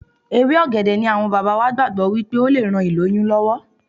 Ewé ọ̀gẹ̀dẹ̀ ni àwọn bàbá wa gbàgbọ́ wípé ó le ran ìlóyún lọ́wọ́.